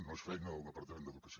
no és feina del departament d’educació